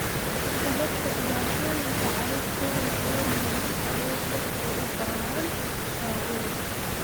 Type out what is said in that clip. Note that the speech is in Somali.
Sababta dhibaatooyinka carruurtooda oo nugul, awood yar oo u baahan daaweyn.